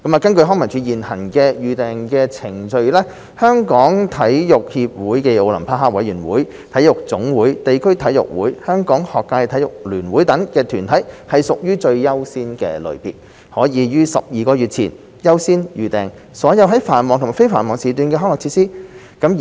根據康文署現行的預訂程序，中國香港體育協會暨奧林匹克委員會、體育總會、地區體育會、香港學界體育聯會等團體屬最優先類別，可於12個月前優先預訂所有在繁忙及非繁忙時段的康樂設施。